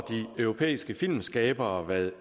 de europæiske filmskabere hvad